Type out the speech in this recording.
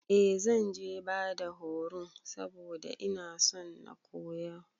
Eh zanje bada horun saboda inason na koya